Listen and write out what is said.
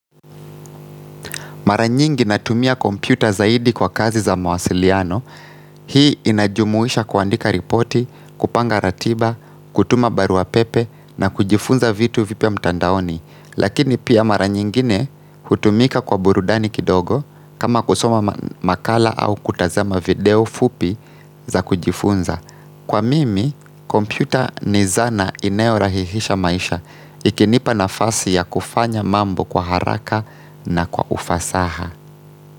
Maranyingi natumia kompyuta zaidi kwa kazi za mawasiliano, hii inajumuisha kuandika ripoti, kupanga ratiba, kutuma baruapepe na kujifunza vitu vipya mtandaoni. Lakini pia maranyingine hutumika kwa burudani kidogo kama kusoma makala au kutazama video fupi za kujifunza. Kwa mimi, kompyuta ni zana inayorahisisha maisha ikinipa na fasi ya kufanya mambo kwa haraka na kwa ufasaha.